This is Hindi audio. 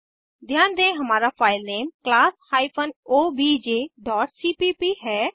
ध्यान दें हमारा filename class hyphen OBJ dot cpp है